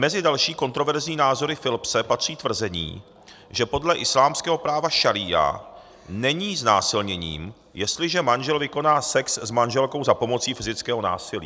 Mezi další kontroverzní názory Philipse patří tvrzení, že podle islámského práva šaría není znásilněním, jestliže manžel vykoná sex s manželkou za pomoci fyzického násilí.